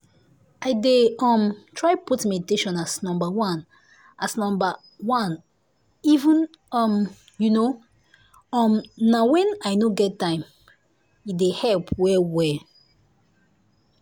i dey um try put meditation as number as number oneeven um you know um na when i no get time - e dey help well well.